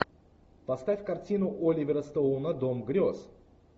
поставь картину оливера стоуна дом грез